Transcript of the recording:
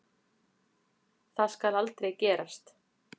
Það skal aldrei gerast.